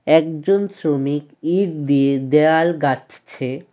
একজন শ্রমিক ইট দিয়ে দেওয়াল গাঁথছে।